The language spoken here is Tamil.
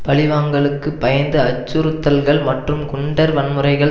பழிவாங்கலுக்கு பயந்து அச்சுறுத்தல்கள் மற்றும் குண்டர் வன்முறைகள்